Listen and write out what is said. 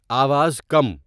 آواز کم